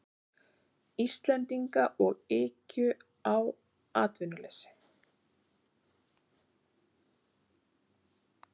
Íslendinga og ykju á atvinnuleysi.